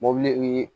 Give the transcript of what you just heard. Mobili